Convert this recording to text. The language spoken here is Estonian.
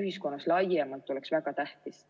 ühiskonnas laiemalt on väga tähtis.